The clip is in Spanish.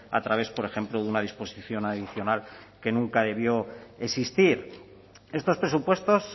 a través por ejemplo de una disposición adicional que nunca debió existir estos presupuestos